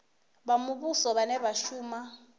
vha muvhuso vhane vha shuma